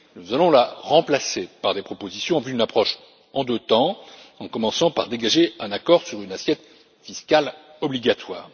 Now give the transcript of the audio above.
Nous allons la remplacer par des propositions en vue d'une approche en deux temps, en commençant par dégager un accord sur une assiette fiscale obligatoire.